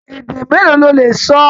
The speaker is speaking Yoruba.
Èdè mélòó ló lè sọ?